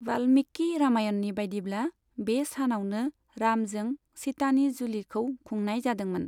बाल्मीकि रामायणनि बायदिब्ला बे सानावनो रामजों सीतानि जुलिखौ खुंनाय जादोंमोन।